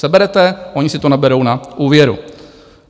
Seberete, oni si to naberou na úvěru.